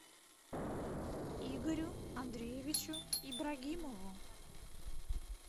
игорю андреевичу ибрагимову